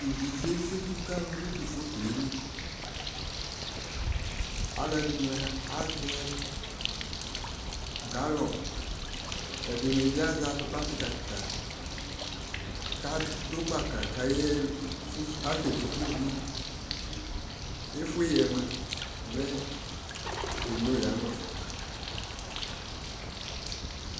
Ivisɛ ɛsetu ka lʋ nʋ tʋ foto yɛ li Alʋɛdini azɛ galɔni, ɛdini bi azɛ atupa kika kika kadʋ gbaka kayaɣa, kasɛ fʋsʋ ivi Efue yɛ moa, mɛ eno yanʋ sʋ